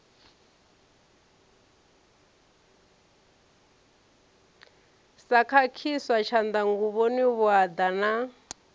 sa khakhiswa tshanḓanguvhoni vhuaḓa na